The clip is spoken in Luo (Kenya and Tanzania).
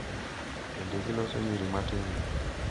bende giloso nyiri matindo,